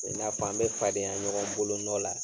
I n'a fɔ an be fadenya ɲɔgɔn bolonɔ la